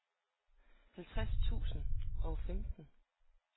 halvtreds tusind og femten